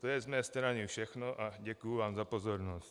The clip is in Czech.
To je z mé strany všechno a děkuji vám za pozornost.